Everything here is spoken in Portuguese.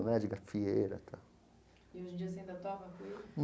Né de gafieira e tal. E hoje em dia você ainda toca cuíca?